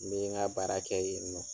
Ni n ye ŋa baara kɛ yen nɔ